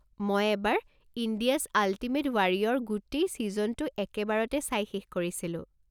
মই এবাৰ 'India's ultimate warrior' গোটেই ছিজনটো একেবাৰতে চাই শেষ কৰিছিলোঁ।